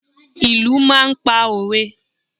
Ìlù máa ń pa òwe.